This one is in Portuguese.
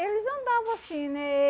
Eles andavam assim, né?